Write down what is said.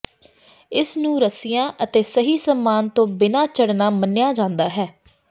ਇਸ ਨੂੰ ਰੱਸਿਆਂ ਅਤੇ ਸਹੀ ਸਾਮਾਨ ਤੋਂ ਬਿਨਾਂ ਚੜ੍ਹਨਾ ਮੰਨਿਆ ਜਾਂਦਾ ਹੈ